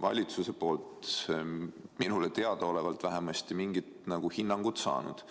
valitsuselt vähemasti minule teadaolevalt mingit hinnangut saanud.